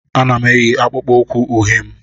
Ana m eyi akpụkpọ ụkwụ uhie m